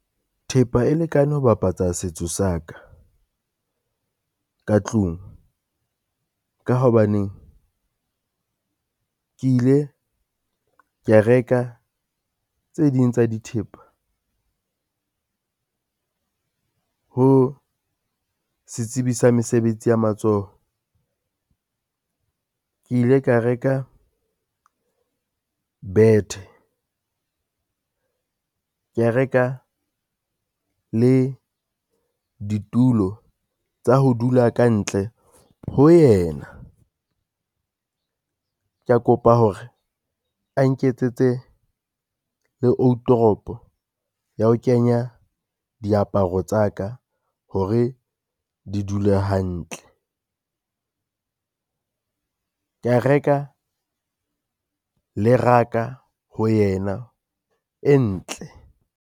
Thepa e lekane ho bapatsa setso sa ka ka tlung, ka hobaneng ke ile ka reka tse ding tsa dithepa ho setsibi sa mesebetsi ya matsoho. Ke ile ka reka bethe, kea reka le ditulo tsa ho dula kantle ho yena. Kea kopa hore a nketsetse le outoropo ya ho kenya diaparo tsa ka hore di dule hantle, kea reka le raka ho yena e ntle.